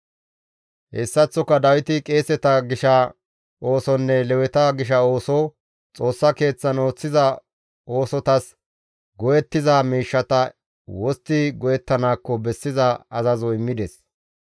Hessaththoka Dawiti qeeseta gisha oosonne Leweta gisha ooso, Xoossa Keeththan ooththiza oosotas go7ettiza miishshata wostti go7ettanaakko bessiza azazo immides.